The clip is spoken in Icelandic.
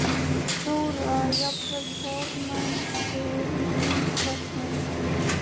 Þóra: Jafnvel formennsku í þingflokknum?